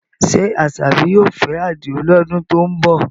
Ṣé Asabi yóò fẹ́ Adio lọ́dún tó ń bọ̀?